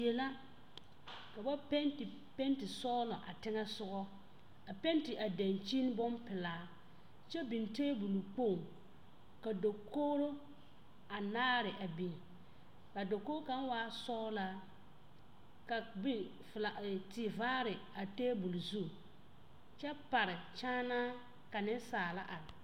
Die la ka ba peete peete sɔglɔ a peete a dankyini ne bompelaa kyɛ biŋ tabol kpoŋ ka dakogro anaare a biŋ a dakogi kaŋ waa sɔglaa ka kpe e fila tevaare a tebol zu kyɛ pare kyaana ka nesaala are.